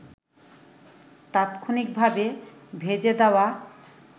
তাৎক্ষণিক ভাবে ভেজে দেওয়া